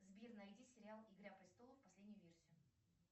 сбер найди сериал игра престолов последнюю версию